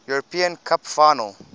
european cup final